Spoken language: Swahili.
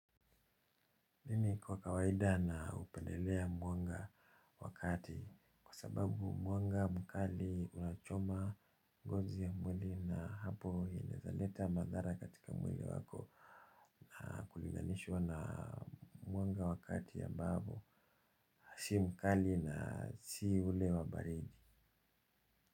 Mimi kwa kawaida naupendelea mwanga wa kati kwa sababu mwanga mkali unachoma ngozi ya mwili na apo inaeza leta madhara katika mwili wako na kulinganishwa na mwanga wa kati ambapo si mkali na si ule wa baridi.